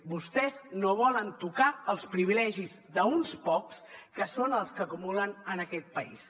vostès no volen tocar els privilegis d’uns quants que són els que acumulen en aquest país